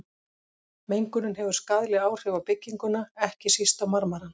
Mengunin hefur skaðleg áhrif á bygginguna, ekki síst á marmarann.